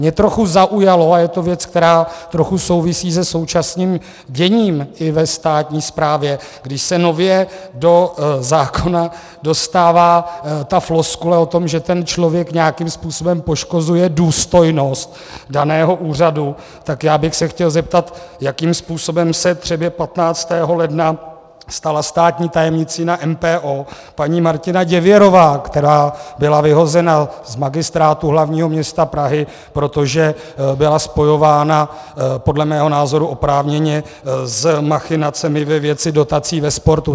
Mě trochu zaujalo, a je to věc, která trochu souvisí se současným děním i ve státní správě, když se nově do zákona dostává ta floskule o tom, že ten člověk nějakým způsobem poškozuje důstojnost daného úřadu, tak já bych se chtěl zeptat, jakým způsobem se třeba 15. ledna stala státní tajemnicí na MPO paní Martina Děvěrová, která byla vyhozena z Magistrátu hlavního města Prahy, protože byla spojována - podle mého názoru oprávněně - s machinacemi ve věci dotací ve sportu.